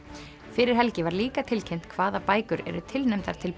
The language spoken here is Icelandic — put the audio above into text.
fyrir helgi var líka tilkynnt hvaða bækur eru tilnefndar til